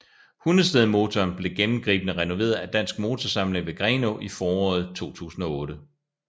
Hundestedmotoren blev gennemgribende renoveret af Dansk Motorsamling ved Grenå i foråret 2008